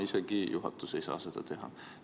Isegi juhatus ei saa seda teha.